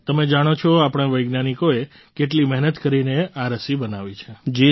તમે જાણો છો આપણા વૈજ્ઞાનિકોએ કેટલી મહેનત કરીને આ રસી બનાવી છે